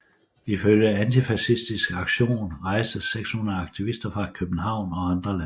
Ifølge Antifascistisk Aktion rejste 600 aktivister fra København og andre landsdele